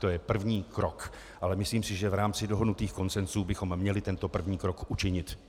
To je první krok, ale myslím si, že v rámci dohodnutých konsensů bychom měli tento první krok učinit.